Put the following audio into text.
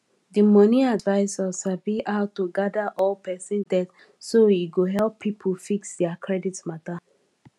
di money advisor sabi how to gather all person debt so e go help people fix their credit matter